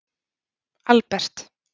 Albert